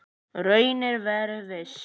Raunar verið viss.